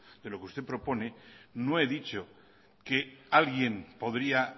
de lo que usted propone no he dicho que alguien podría